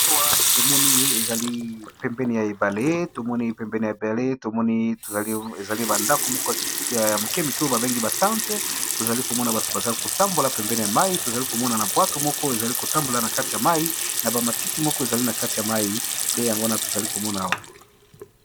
Awa tozomona ezali pembeni ya ebale tomoni ba ndako ya mikemike oya babengaka yango ba tente tozo komona bato bazo kotambola pembeni ya mayi pe ma bwato moko ezakotambola na kati ya mayi pe na ba matiti moko eza na katikati ya mayi.